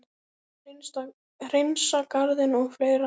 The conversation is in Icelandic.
Hreinsa garðinn og fleira.